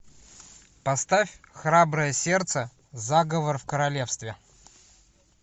поставь храброе сердце заговор в королевстве